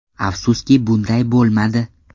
Afsuski bunday bo‘lmadi.